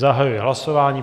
Zahajuji hlasování.